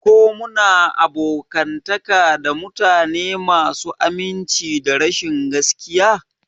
Ko muna abokantaka da mutane masu aminci da rashin gaskiya?